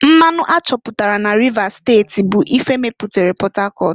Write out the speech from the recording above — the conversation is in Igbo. Mmanụ a chọpụtara n'Rivers steti bụ ife mepere Port Harcourt.